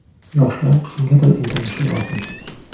Yoshlar kimgadir intilishi lozim.